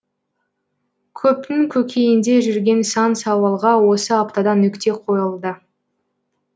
көптің көкейінде жүрген сан сауалға осы аптада нүкте қойылды